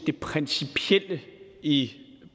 det principielle i